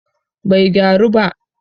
bai gyaru ba